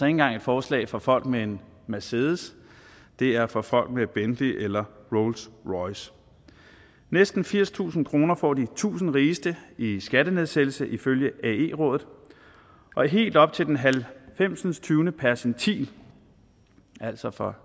engang et forslag for folk med en mercedes det er for folk med bentley eller rolls royce næsten firstusind kroner får de tusind rigeste i i skattenedsættelse ifølge ae rådet og helt op til den halvfemsindstyvende percentil altså for